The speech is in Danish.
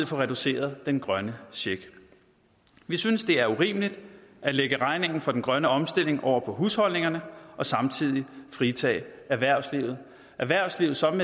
få reduceret den grønne check vi synes det er urimeligt at lægge regningen for den grønne omstilling over på husholdningerne og samtidig fritage erhvervslivet erhvervslivet som